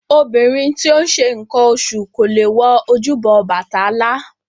Obìnrin tí ó ń ṣe nǹkan oṣù kò lè wọ ojúbọ Ọbàtálá